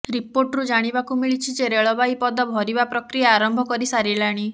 ରିପୋର୍ଟରୁ ଜାଣିବାକୁ ମିଳିଛି ଯେ ରେଳବାଇ ପଦ ଭରିବା ପ୍ରକ୍ରିୟା ଆରମ୍ଭ କରି ସାରିଲାଣି